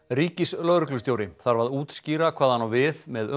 ríkislögreglustjóri þarf að útskýra hvað hann á við með